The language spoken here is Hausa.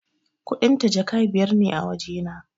Kuɗin ta Jaka biyar ne a wajena